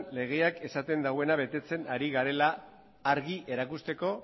legea esaten duena betetzen ari garela argi erakusteko